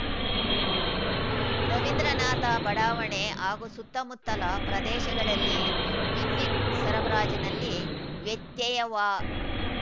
ರವೀಂದ್ರನಾಥ ಬಡಾವಣೆ ಹಾಗೂ ಸುತ್ತಮುತ್ತಲ ಪ್ರದೇಶಗಳಲ್ಲಿ ವಿದ್ಯುತ್‌ ಸರಬರಾಜಿನಲ್ಲಿ ವ್ಯತ್ಯಯವಾ